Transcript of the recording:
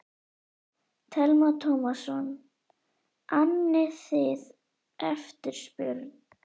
Telma Tómasson: Annið þið eftirspurn?